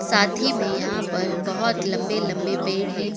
साथी में यहाँ पर बहोत लंबे-लंबे पेड़ है।